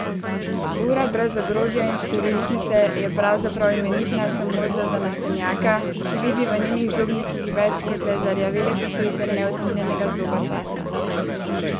Ura brez ogrodja in številčnice je pravzaprav imenitna samo za zanesenjaka, ki vidi v njenih zobnikih več kot le zarjavele posledice neusmiljenega zoba časa.